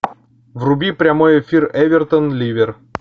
вруби прямой эфир эвертон ливер